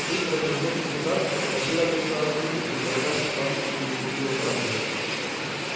быстро обернувшись назад кобыла ответила тоненьким дрожащим ласковым и игривым ржанием